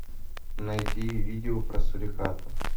найти видео про сурикатов